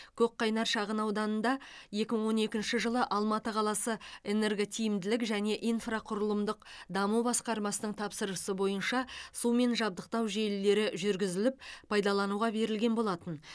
көк қайнар шағынауданында екі мың он екінші жылы алматы қаласы энерготиімділік және инфрақұрылымдық даму басқармасының тапсырысы бойынша сумен жабдықтау желілері жүргізіліп пайдалануға берілген болатын